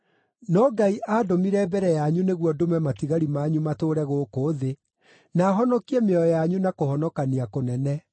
No Ngai aandũmire mbere yanyu nĩguo ndũme matigari manyu matũũre gũkũ thĩ, na honokie mĩoyo yanyu na kũhonokania kũnene.